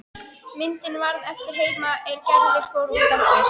Myndin varð eftir heima er Gerður fór út aftur.